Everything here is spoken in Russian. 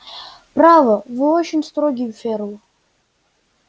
право вы очень строги ферл